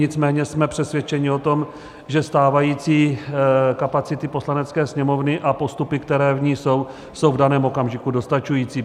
Nicméně jsme přesvědčeni o tom, že stávající kapacity Poslanecké sněmovny a postupy, které v ní jsou, jsou v daném okamžiku dostačující.